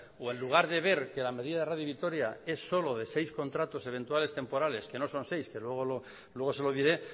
o en lugar de ver que la medida de radio vitoria es solo de seis contratos eventuales temporales que no son seis luego se lo diré